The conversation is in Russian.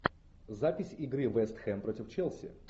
запись игры вест хэм против челси